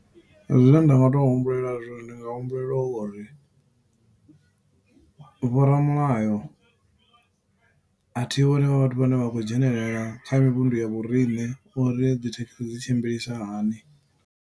Zwine nda nga to humbulela zwone, ndi nga humbulela uri vho ramulayo a thi vhoni vha vhathu vhane vha khou dzhenelela kha mivhundu ya vhorine, uri dzithekhisi dzi tshimbilisahani.